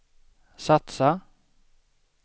satsa